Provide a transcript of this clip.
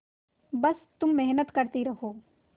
बस तुम मेहनत करती रहो